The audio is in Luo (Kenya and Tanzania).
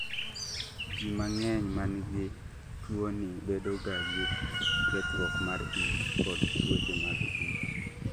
ji mang'eny manigi tuwoni bedogagi kethruok mar it kod tuoche mag it